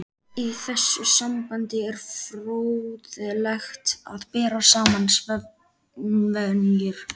Í þessu sambandi er fróðlegt að bera saman svefnvenjur